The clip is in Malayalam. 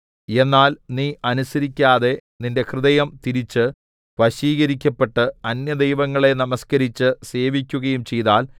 എന്നാൽ നീ അനുസരിക്കാതെ നിന്റെ ഹൃദയം തിരിച്ച് വശീകരിക്കപ്പെട്ട് അന്യദൈവങ്ങളെ നമസ്കരിച്ച് സേവിക്കുകയും ചെയ്താൽ